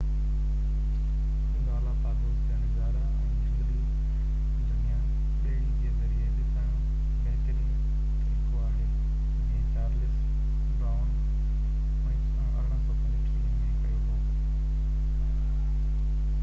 Galapagos جا نظارا ۽ جهنگلي دنيا ٻيڙي جي ذريعي ڏسڻ بهترين طريقو آهي جيئن چارلس ڊارون 1835 م ڪيو هو